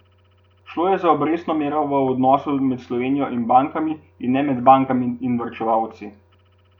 Šlo je za obrestno mero v odnosu med Slovenijo in bankami, in ne med bankami in varčevalci.